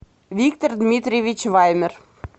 виктор дмитриевич вайнер